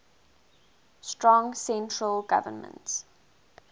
strong central government